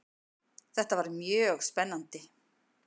Þetta var mjög spennandi.